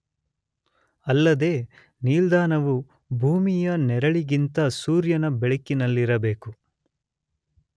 ಅಲ್ಲದೇ ನಿಲ್ದಾಣವು ಭೂಮಿಯ ನೆರಳಿಗಿಂತ ಸೂರ್ಯನ ಬೆಳಕಿನಲ್ಲಿರಬೇಕು.